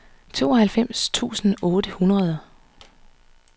tooghalvfems tusind otte hundrede